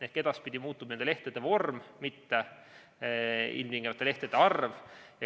Ehk edaspidi muutub nende lehtede vorm, mitte ilmtingimata lehtede arv.